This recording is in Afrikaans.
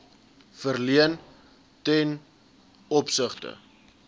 verleen ten opsigte